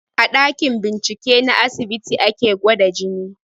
A ɗakin bincike na asibiti ake gwada jini